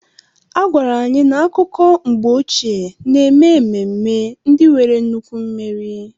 A gwara anyị na akụkọ mgbe ochie na-eme ememme ndị nwere nnukwu mmeri.